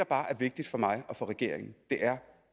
bare er vigtigt for mig og regeringen er